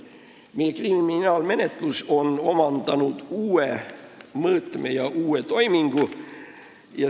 Meie kriminaalmenetlus on omandanud uue mõõtme ja uue toimingu.